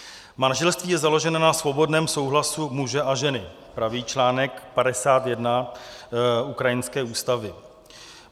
"Manželství je založeno na svobodném souhlasu muže a ženy," praví článek 51 ukrajinské ústavy.